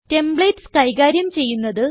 templates കൈകാര്യം ചെയ്യുന്നത്